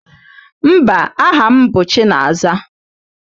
Mba, aha m bụ Chinaza.